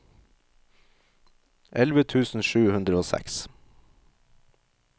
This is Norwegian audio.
elleve tusen sju hundre og seks